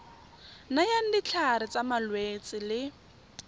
nayang ditlhare tsa malwetse le